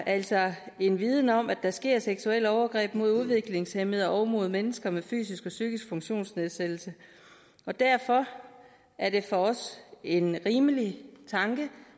altså har en viden om at der sker seksuelle overgreb mod udviklingshæmmede og mod mennesker med fysisk og psykisk funktionsnedsættelse og derfor er det for os en rimelig tanke